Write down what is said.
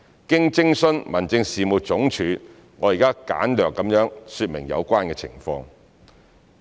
經徵詢民政事務總署，我現簡略說明有關情況。